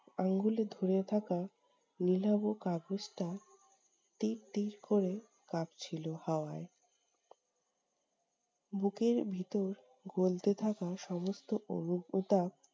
আঙ্গুলে ধরে থাকা নীলাভ কাগজটা তিরতির করে কাঁপছিলো হাওয়ায়। বুকের ভিতর গলতে থাকা সমস্ত অনুগ্রতা